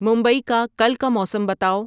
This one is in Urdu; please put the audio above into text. ممبئی کا کل کا موسم بتاؤ